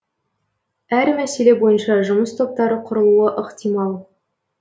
әр мәселе бойынша жұмыс топтары құрылуы ықтимал